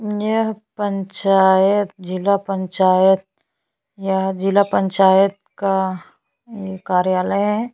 यह पंचायत जिला पंचायत यह जिला पंचायत का यह कार्यालय --